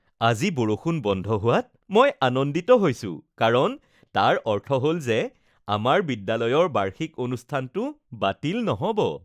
আজি বৰষুণ বন্ধ হোৱাত মই আনন্দিত হৈছো কাৰণ তাৰ অৰ্থ হ'ল যে আমাৰ বিদ্যালয়ৰ বাৰ্ষিক অনুষ্ঠানটো বাতিল নহ'ব